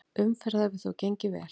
Umferð hefur þó gengið vel.